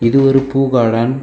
இது ஒரு பூ கார்டன் .